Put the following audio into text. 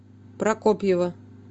прокопьева